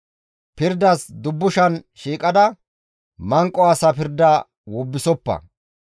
«Pirdas dubbushan shiiqada, manqo asa pirda wobbisoppa.